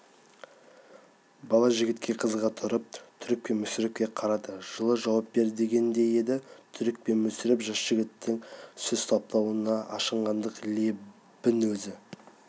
бала жігітке қызыға тұрып түрік пен мүсірепке қарады жылы жауап бер дегендей еді түрік пен мүсіреп жас жігіттің сөз саптауынан ашынғандық лебін өзі